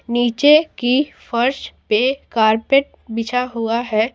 नीचे की फर्श पे कारपेट बिछा हुआ है।